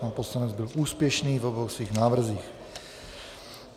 Pan poslanec byl úspěšný v obou svých návrzích.